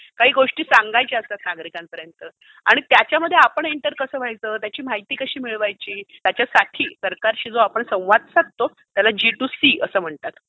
काही गोष्टी सांगायच्या असतात नागरिकांपर्यन्त. त्याच्यामध्ये आपण एंटर कसं व्हायचं, त्याची माहिती कशी मिळवायची, त्यासाठी आपण जो संवाद साधतो, त्याला जी टू सी असं म्हणतात. हू?